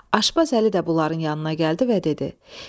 Aşbaz Əli də bunların yanına gəldi və dedi: